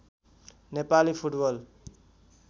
Nepali football